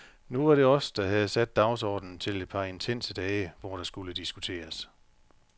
Nu var det os, der havde sat dagsordenen til et par intense dage, hvor der skulle diskuteres.